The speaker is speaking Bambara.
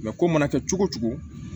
ko mana kɛ cogo cogo